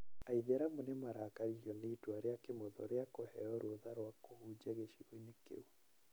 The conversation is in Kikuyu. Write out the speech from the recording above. Aithĩramu nĩ marakaririo nĩ itua rĩa Kĩmotho rĩa kũheo rũtha rwa kũhunjia gĩcigo-inĩ kĩu.